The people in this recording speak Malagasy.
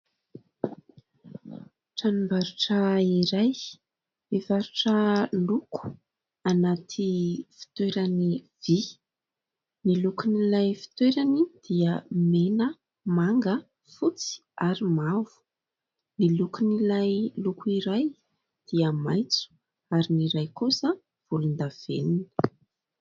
Tranombarotra iray mivarotra loko anaty fitoerany vy. Ny lokon'ilay fitoerany dia mena, manga, fotsy ary mavo. Ny lokon'ilay loko iray dia maitso ary ny iray kosa dia volondavenona.